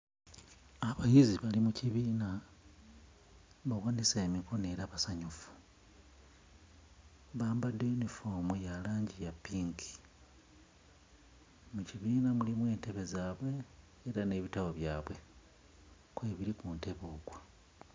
Abayizi bali mu kibiina bawanise emikono era basanyufu. Bambadde yunifoomu ya langi ya ppinki. Mu kibiina mulimu entebe zaabwe era n'ebitabo byabwe kwebiri ku ntebe okwo.